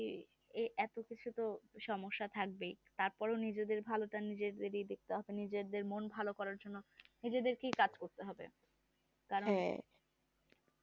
এ এতো কিছু তো সমস্যা থাকবেই তারপর ও নিজেদের ভালোটা নিজেদেরই দেখতে হবে নিজেদের মন ভালো করার জন্যে নিজেদের ই কাজ করতে হবে কারণ